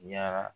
Yara